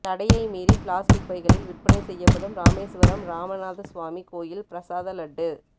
தடையை மீறி பிளாஸ்டிக் பைகளில் விற்பனை செய்யப்படும் ராமேசுவரம் ராமநாதசுவாமி கோயில் பிரசாத லட்டு